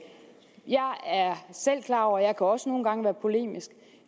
jeg er selv klar over at jeg også nogle gange kan være polemisk